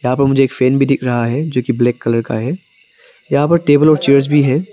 यहां पर मुझे एक फैन भी दिख रहा हैं जो कि ब्लैक कलर का है यहां पर टेबल और चेयर्स भी हैं।